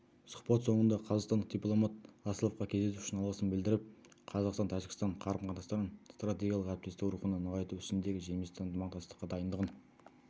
сұхбат соңында қазақстандық дипломат асловқа кездесу үшін алғысын білдіріп қазақстан-тәжікстан қарым-қатынастарын стратегиялық әріптесік рухында нығайту ісіндегі жемісті ынтымақтастыққа дайындығын